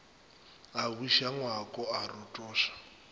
a buša ngwako a rotoša